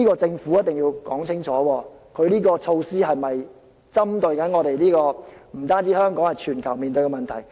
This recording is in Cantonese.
政府必須說清楚，這項策施有否針對，不止是香港，更是全球面對的問題。